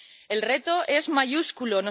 El reto es mayúsculo.